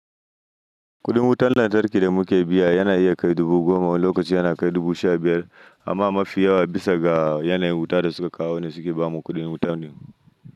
Kuɗin wutar lantarki da muke biya yana iya kai dubu goma lokacin yana kai dubu sha biyar amma mafi yawa bisa ga yanayin wuta da suka kawo ne suke bamu kuɗin wutanin.